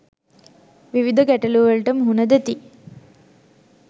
විවිධ ගැටලු වලට මුහුණ දෙති.